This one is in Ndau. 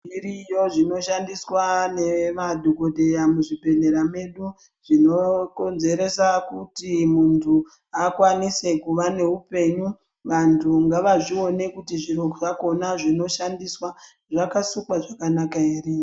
Zviriyo zvinoshandiswa nemadhokodheya muzvibhedhlera medu ,zvinokonzeresa kuti muntu akwanise kuva neupenyu. Vantu ngavazvione kuti zviro zvakhona zvinoshandiswa, zvakasukwa zvakanaka ere.